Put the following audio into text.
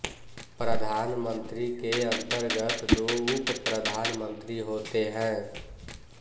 प्रधान मंत्री के अंतर्गत दो उपप्रधानमंत्रि होते हैं